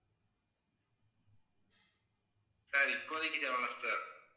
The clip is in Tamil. sir இப்போதைக்கு தேவையில்லை sir